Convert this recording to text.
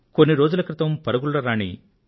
కొన్ని రోజుల క్రితం పరుగుల రాణి పి